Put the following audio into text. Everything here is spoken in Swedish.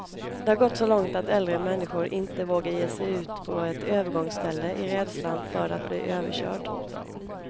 Det har gått så långt att äldre människor inte vågar ge sig ut på ett övergångsställe, i rädslan för att bli överkörd.